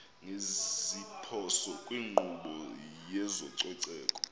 ngeziphoso kwinkqubo yezococeko